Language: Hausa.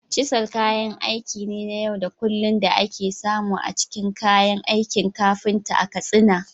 Cisal kayan aiki ne na yau da kullun da ake samu a cikin kayan aikin kafinta a Katsina.